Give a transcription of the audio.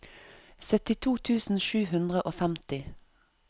syttito tusen sju hundre og femti